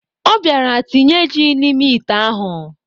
Ọ bịara tinye ji n'ime ite ahụ.